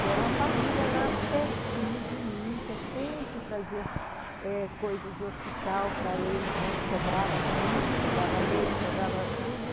E era uma família lá pertinho de mim, que eu sempre trazia eh coisas do hospital para eles, né, que sobrava comida, sobrava leite, sobrava tudo.